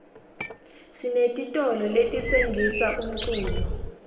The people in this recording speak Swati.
sinetitolo letitsengisa umculo